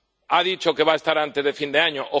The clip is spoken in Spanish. Ha dicho que va a estar antes de fin de año...,